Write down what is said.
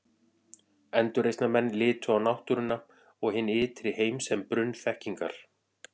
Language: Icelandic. Endurreisnarmenn litu á náttúruna og hinn ytri heim sem brunn þekkingar.